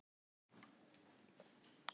Kannski var ástin holl fyrir tónlistina.